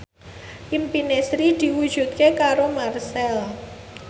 impine Sri diwujudke karo Marchell